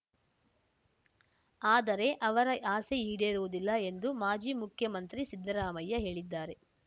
ಆದರೆ ಅವರ ಆಸೆ ಈಡೇರುವುದಿಲ್ಲ ಎಂದು ಮಾಜಿ ಮುಖ್ಯಮಂತ್ರಿ ಸಿದ್ದರಾಮಯ್ಯ ಹೇಳಿದ್ದಾರೆ